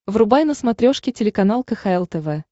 врубай на смотрешке телеканал кхл тв